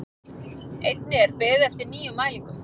Einnig er beðið eftir nýjum mælingum